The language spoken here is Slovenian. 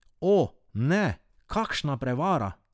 O, ne, kakšna prevara!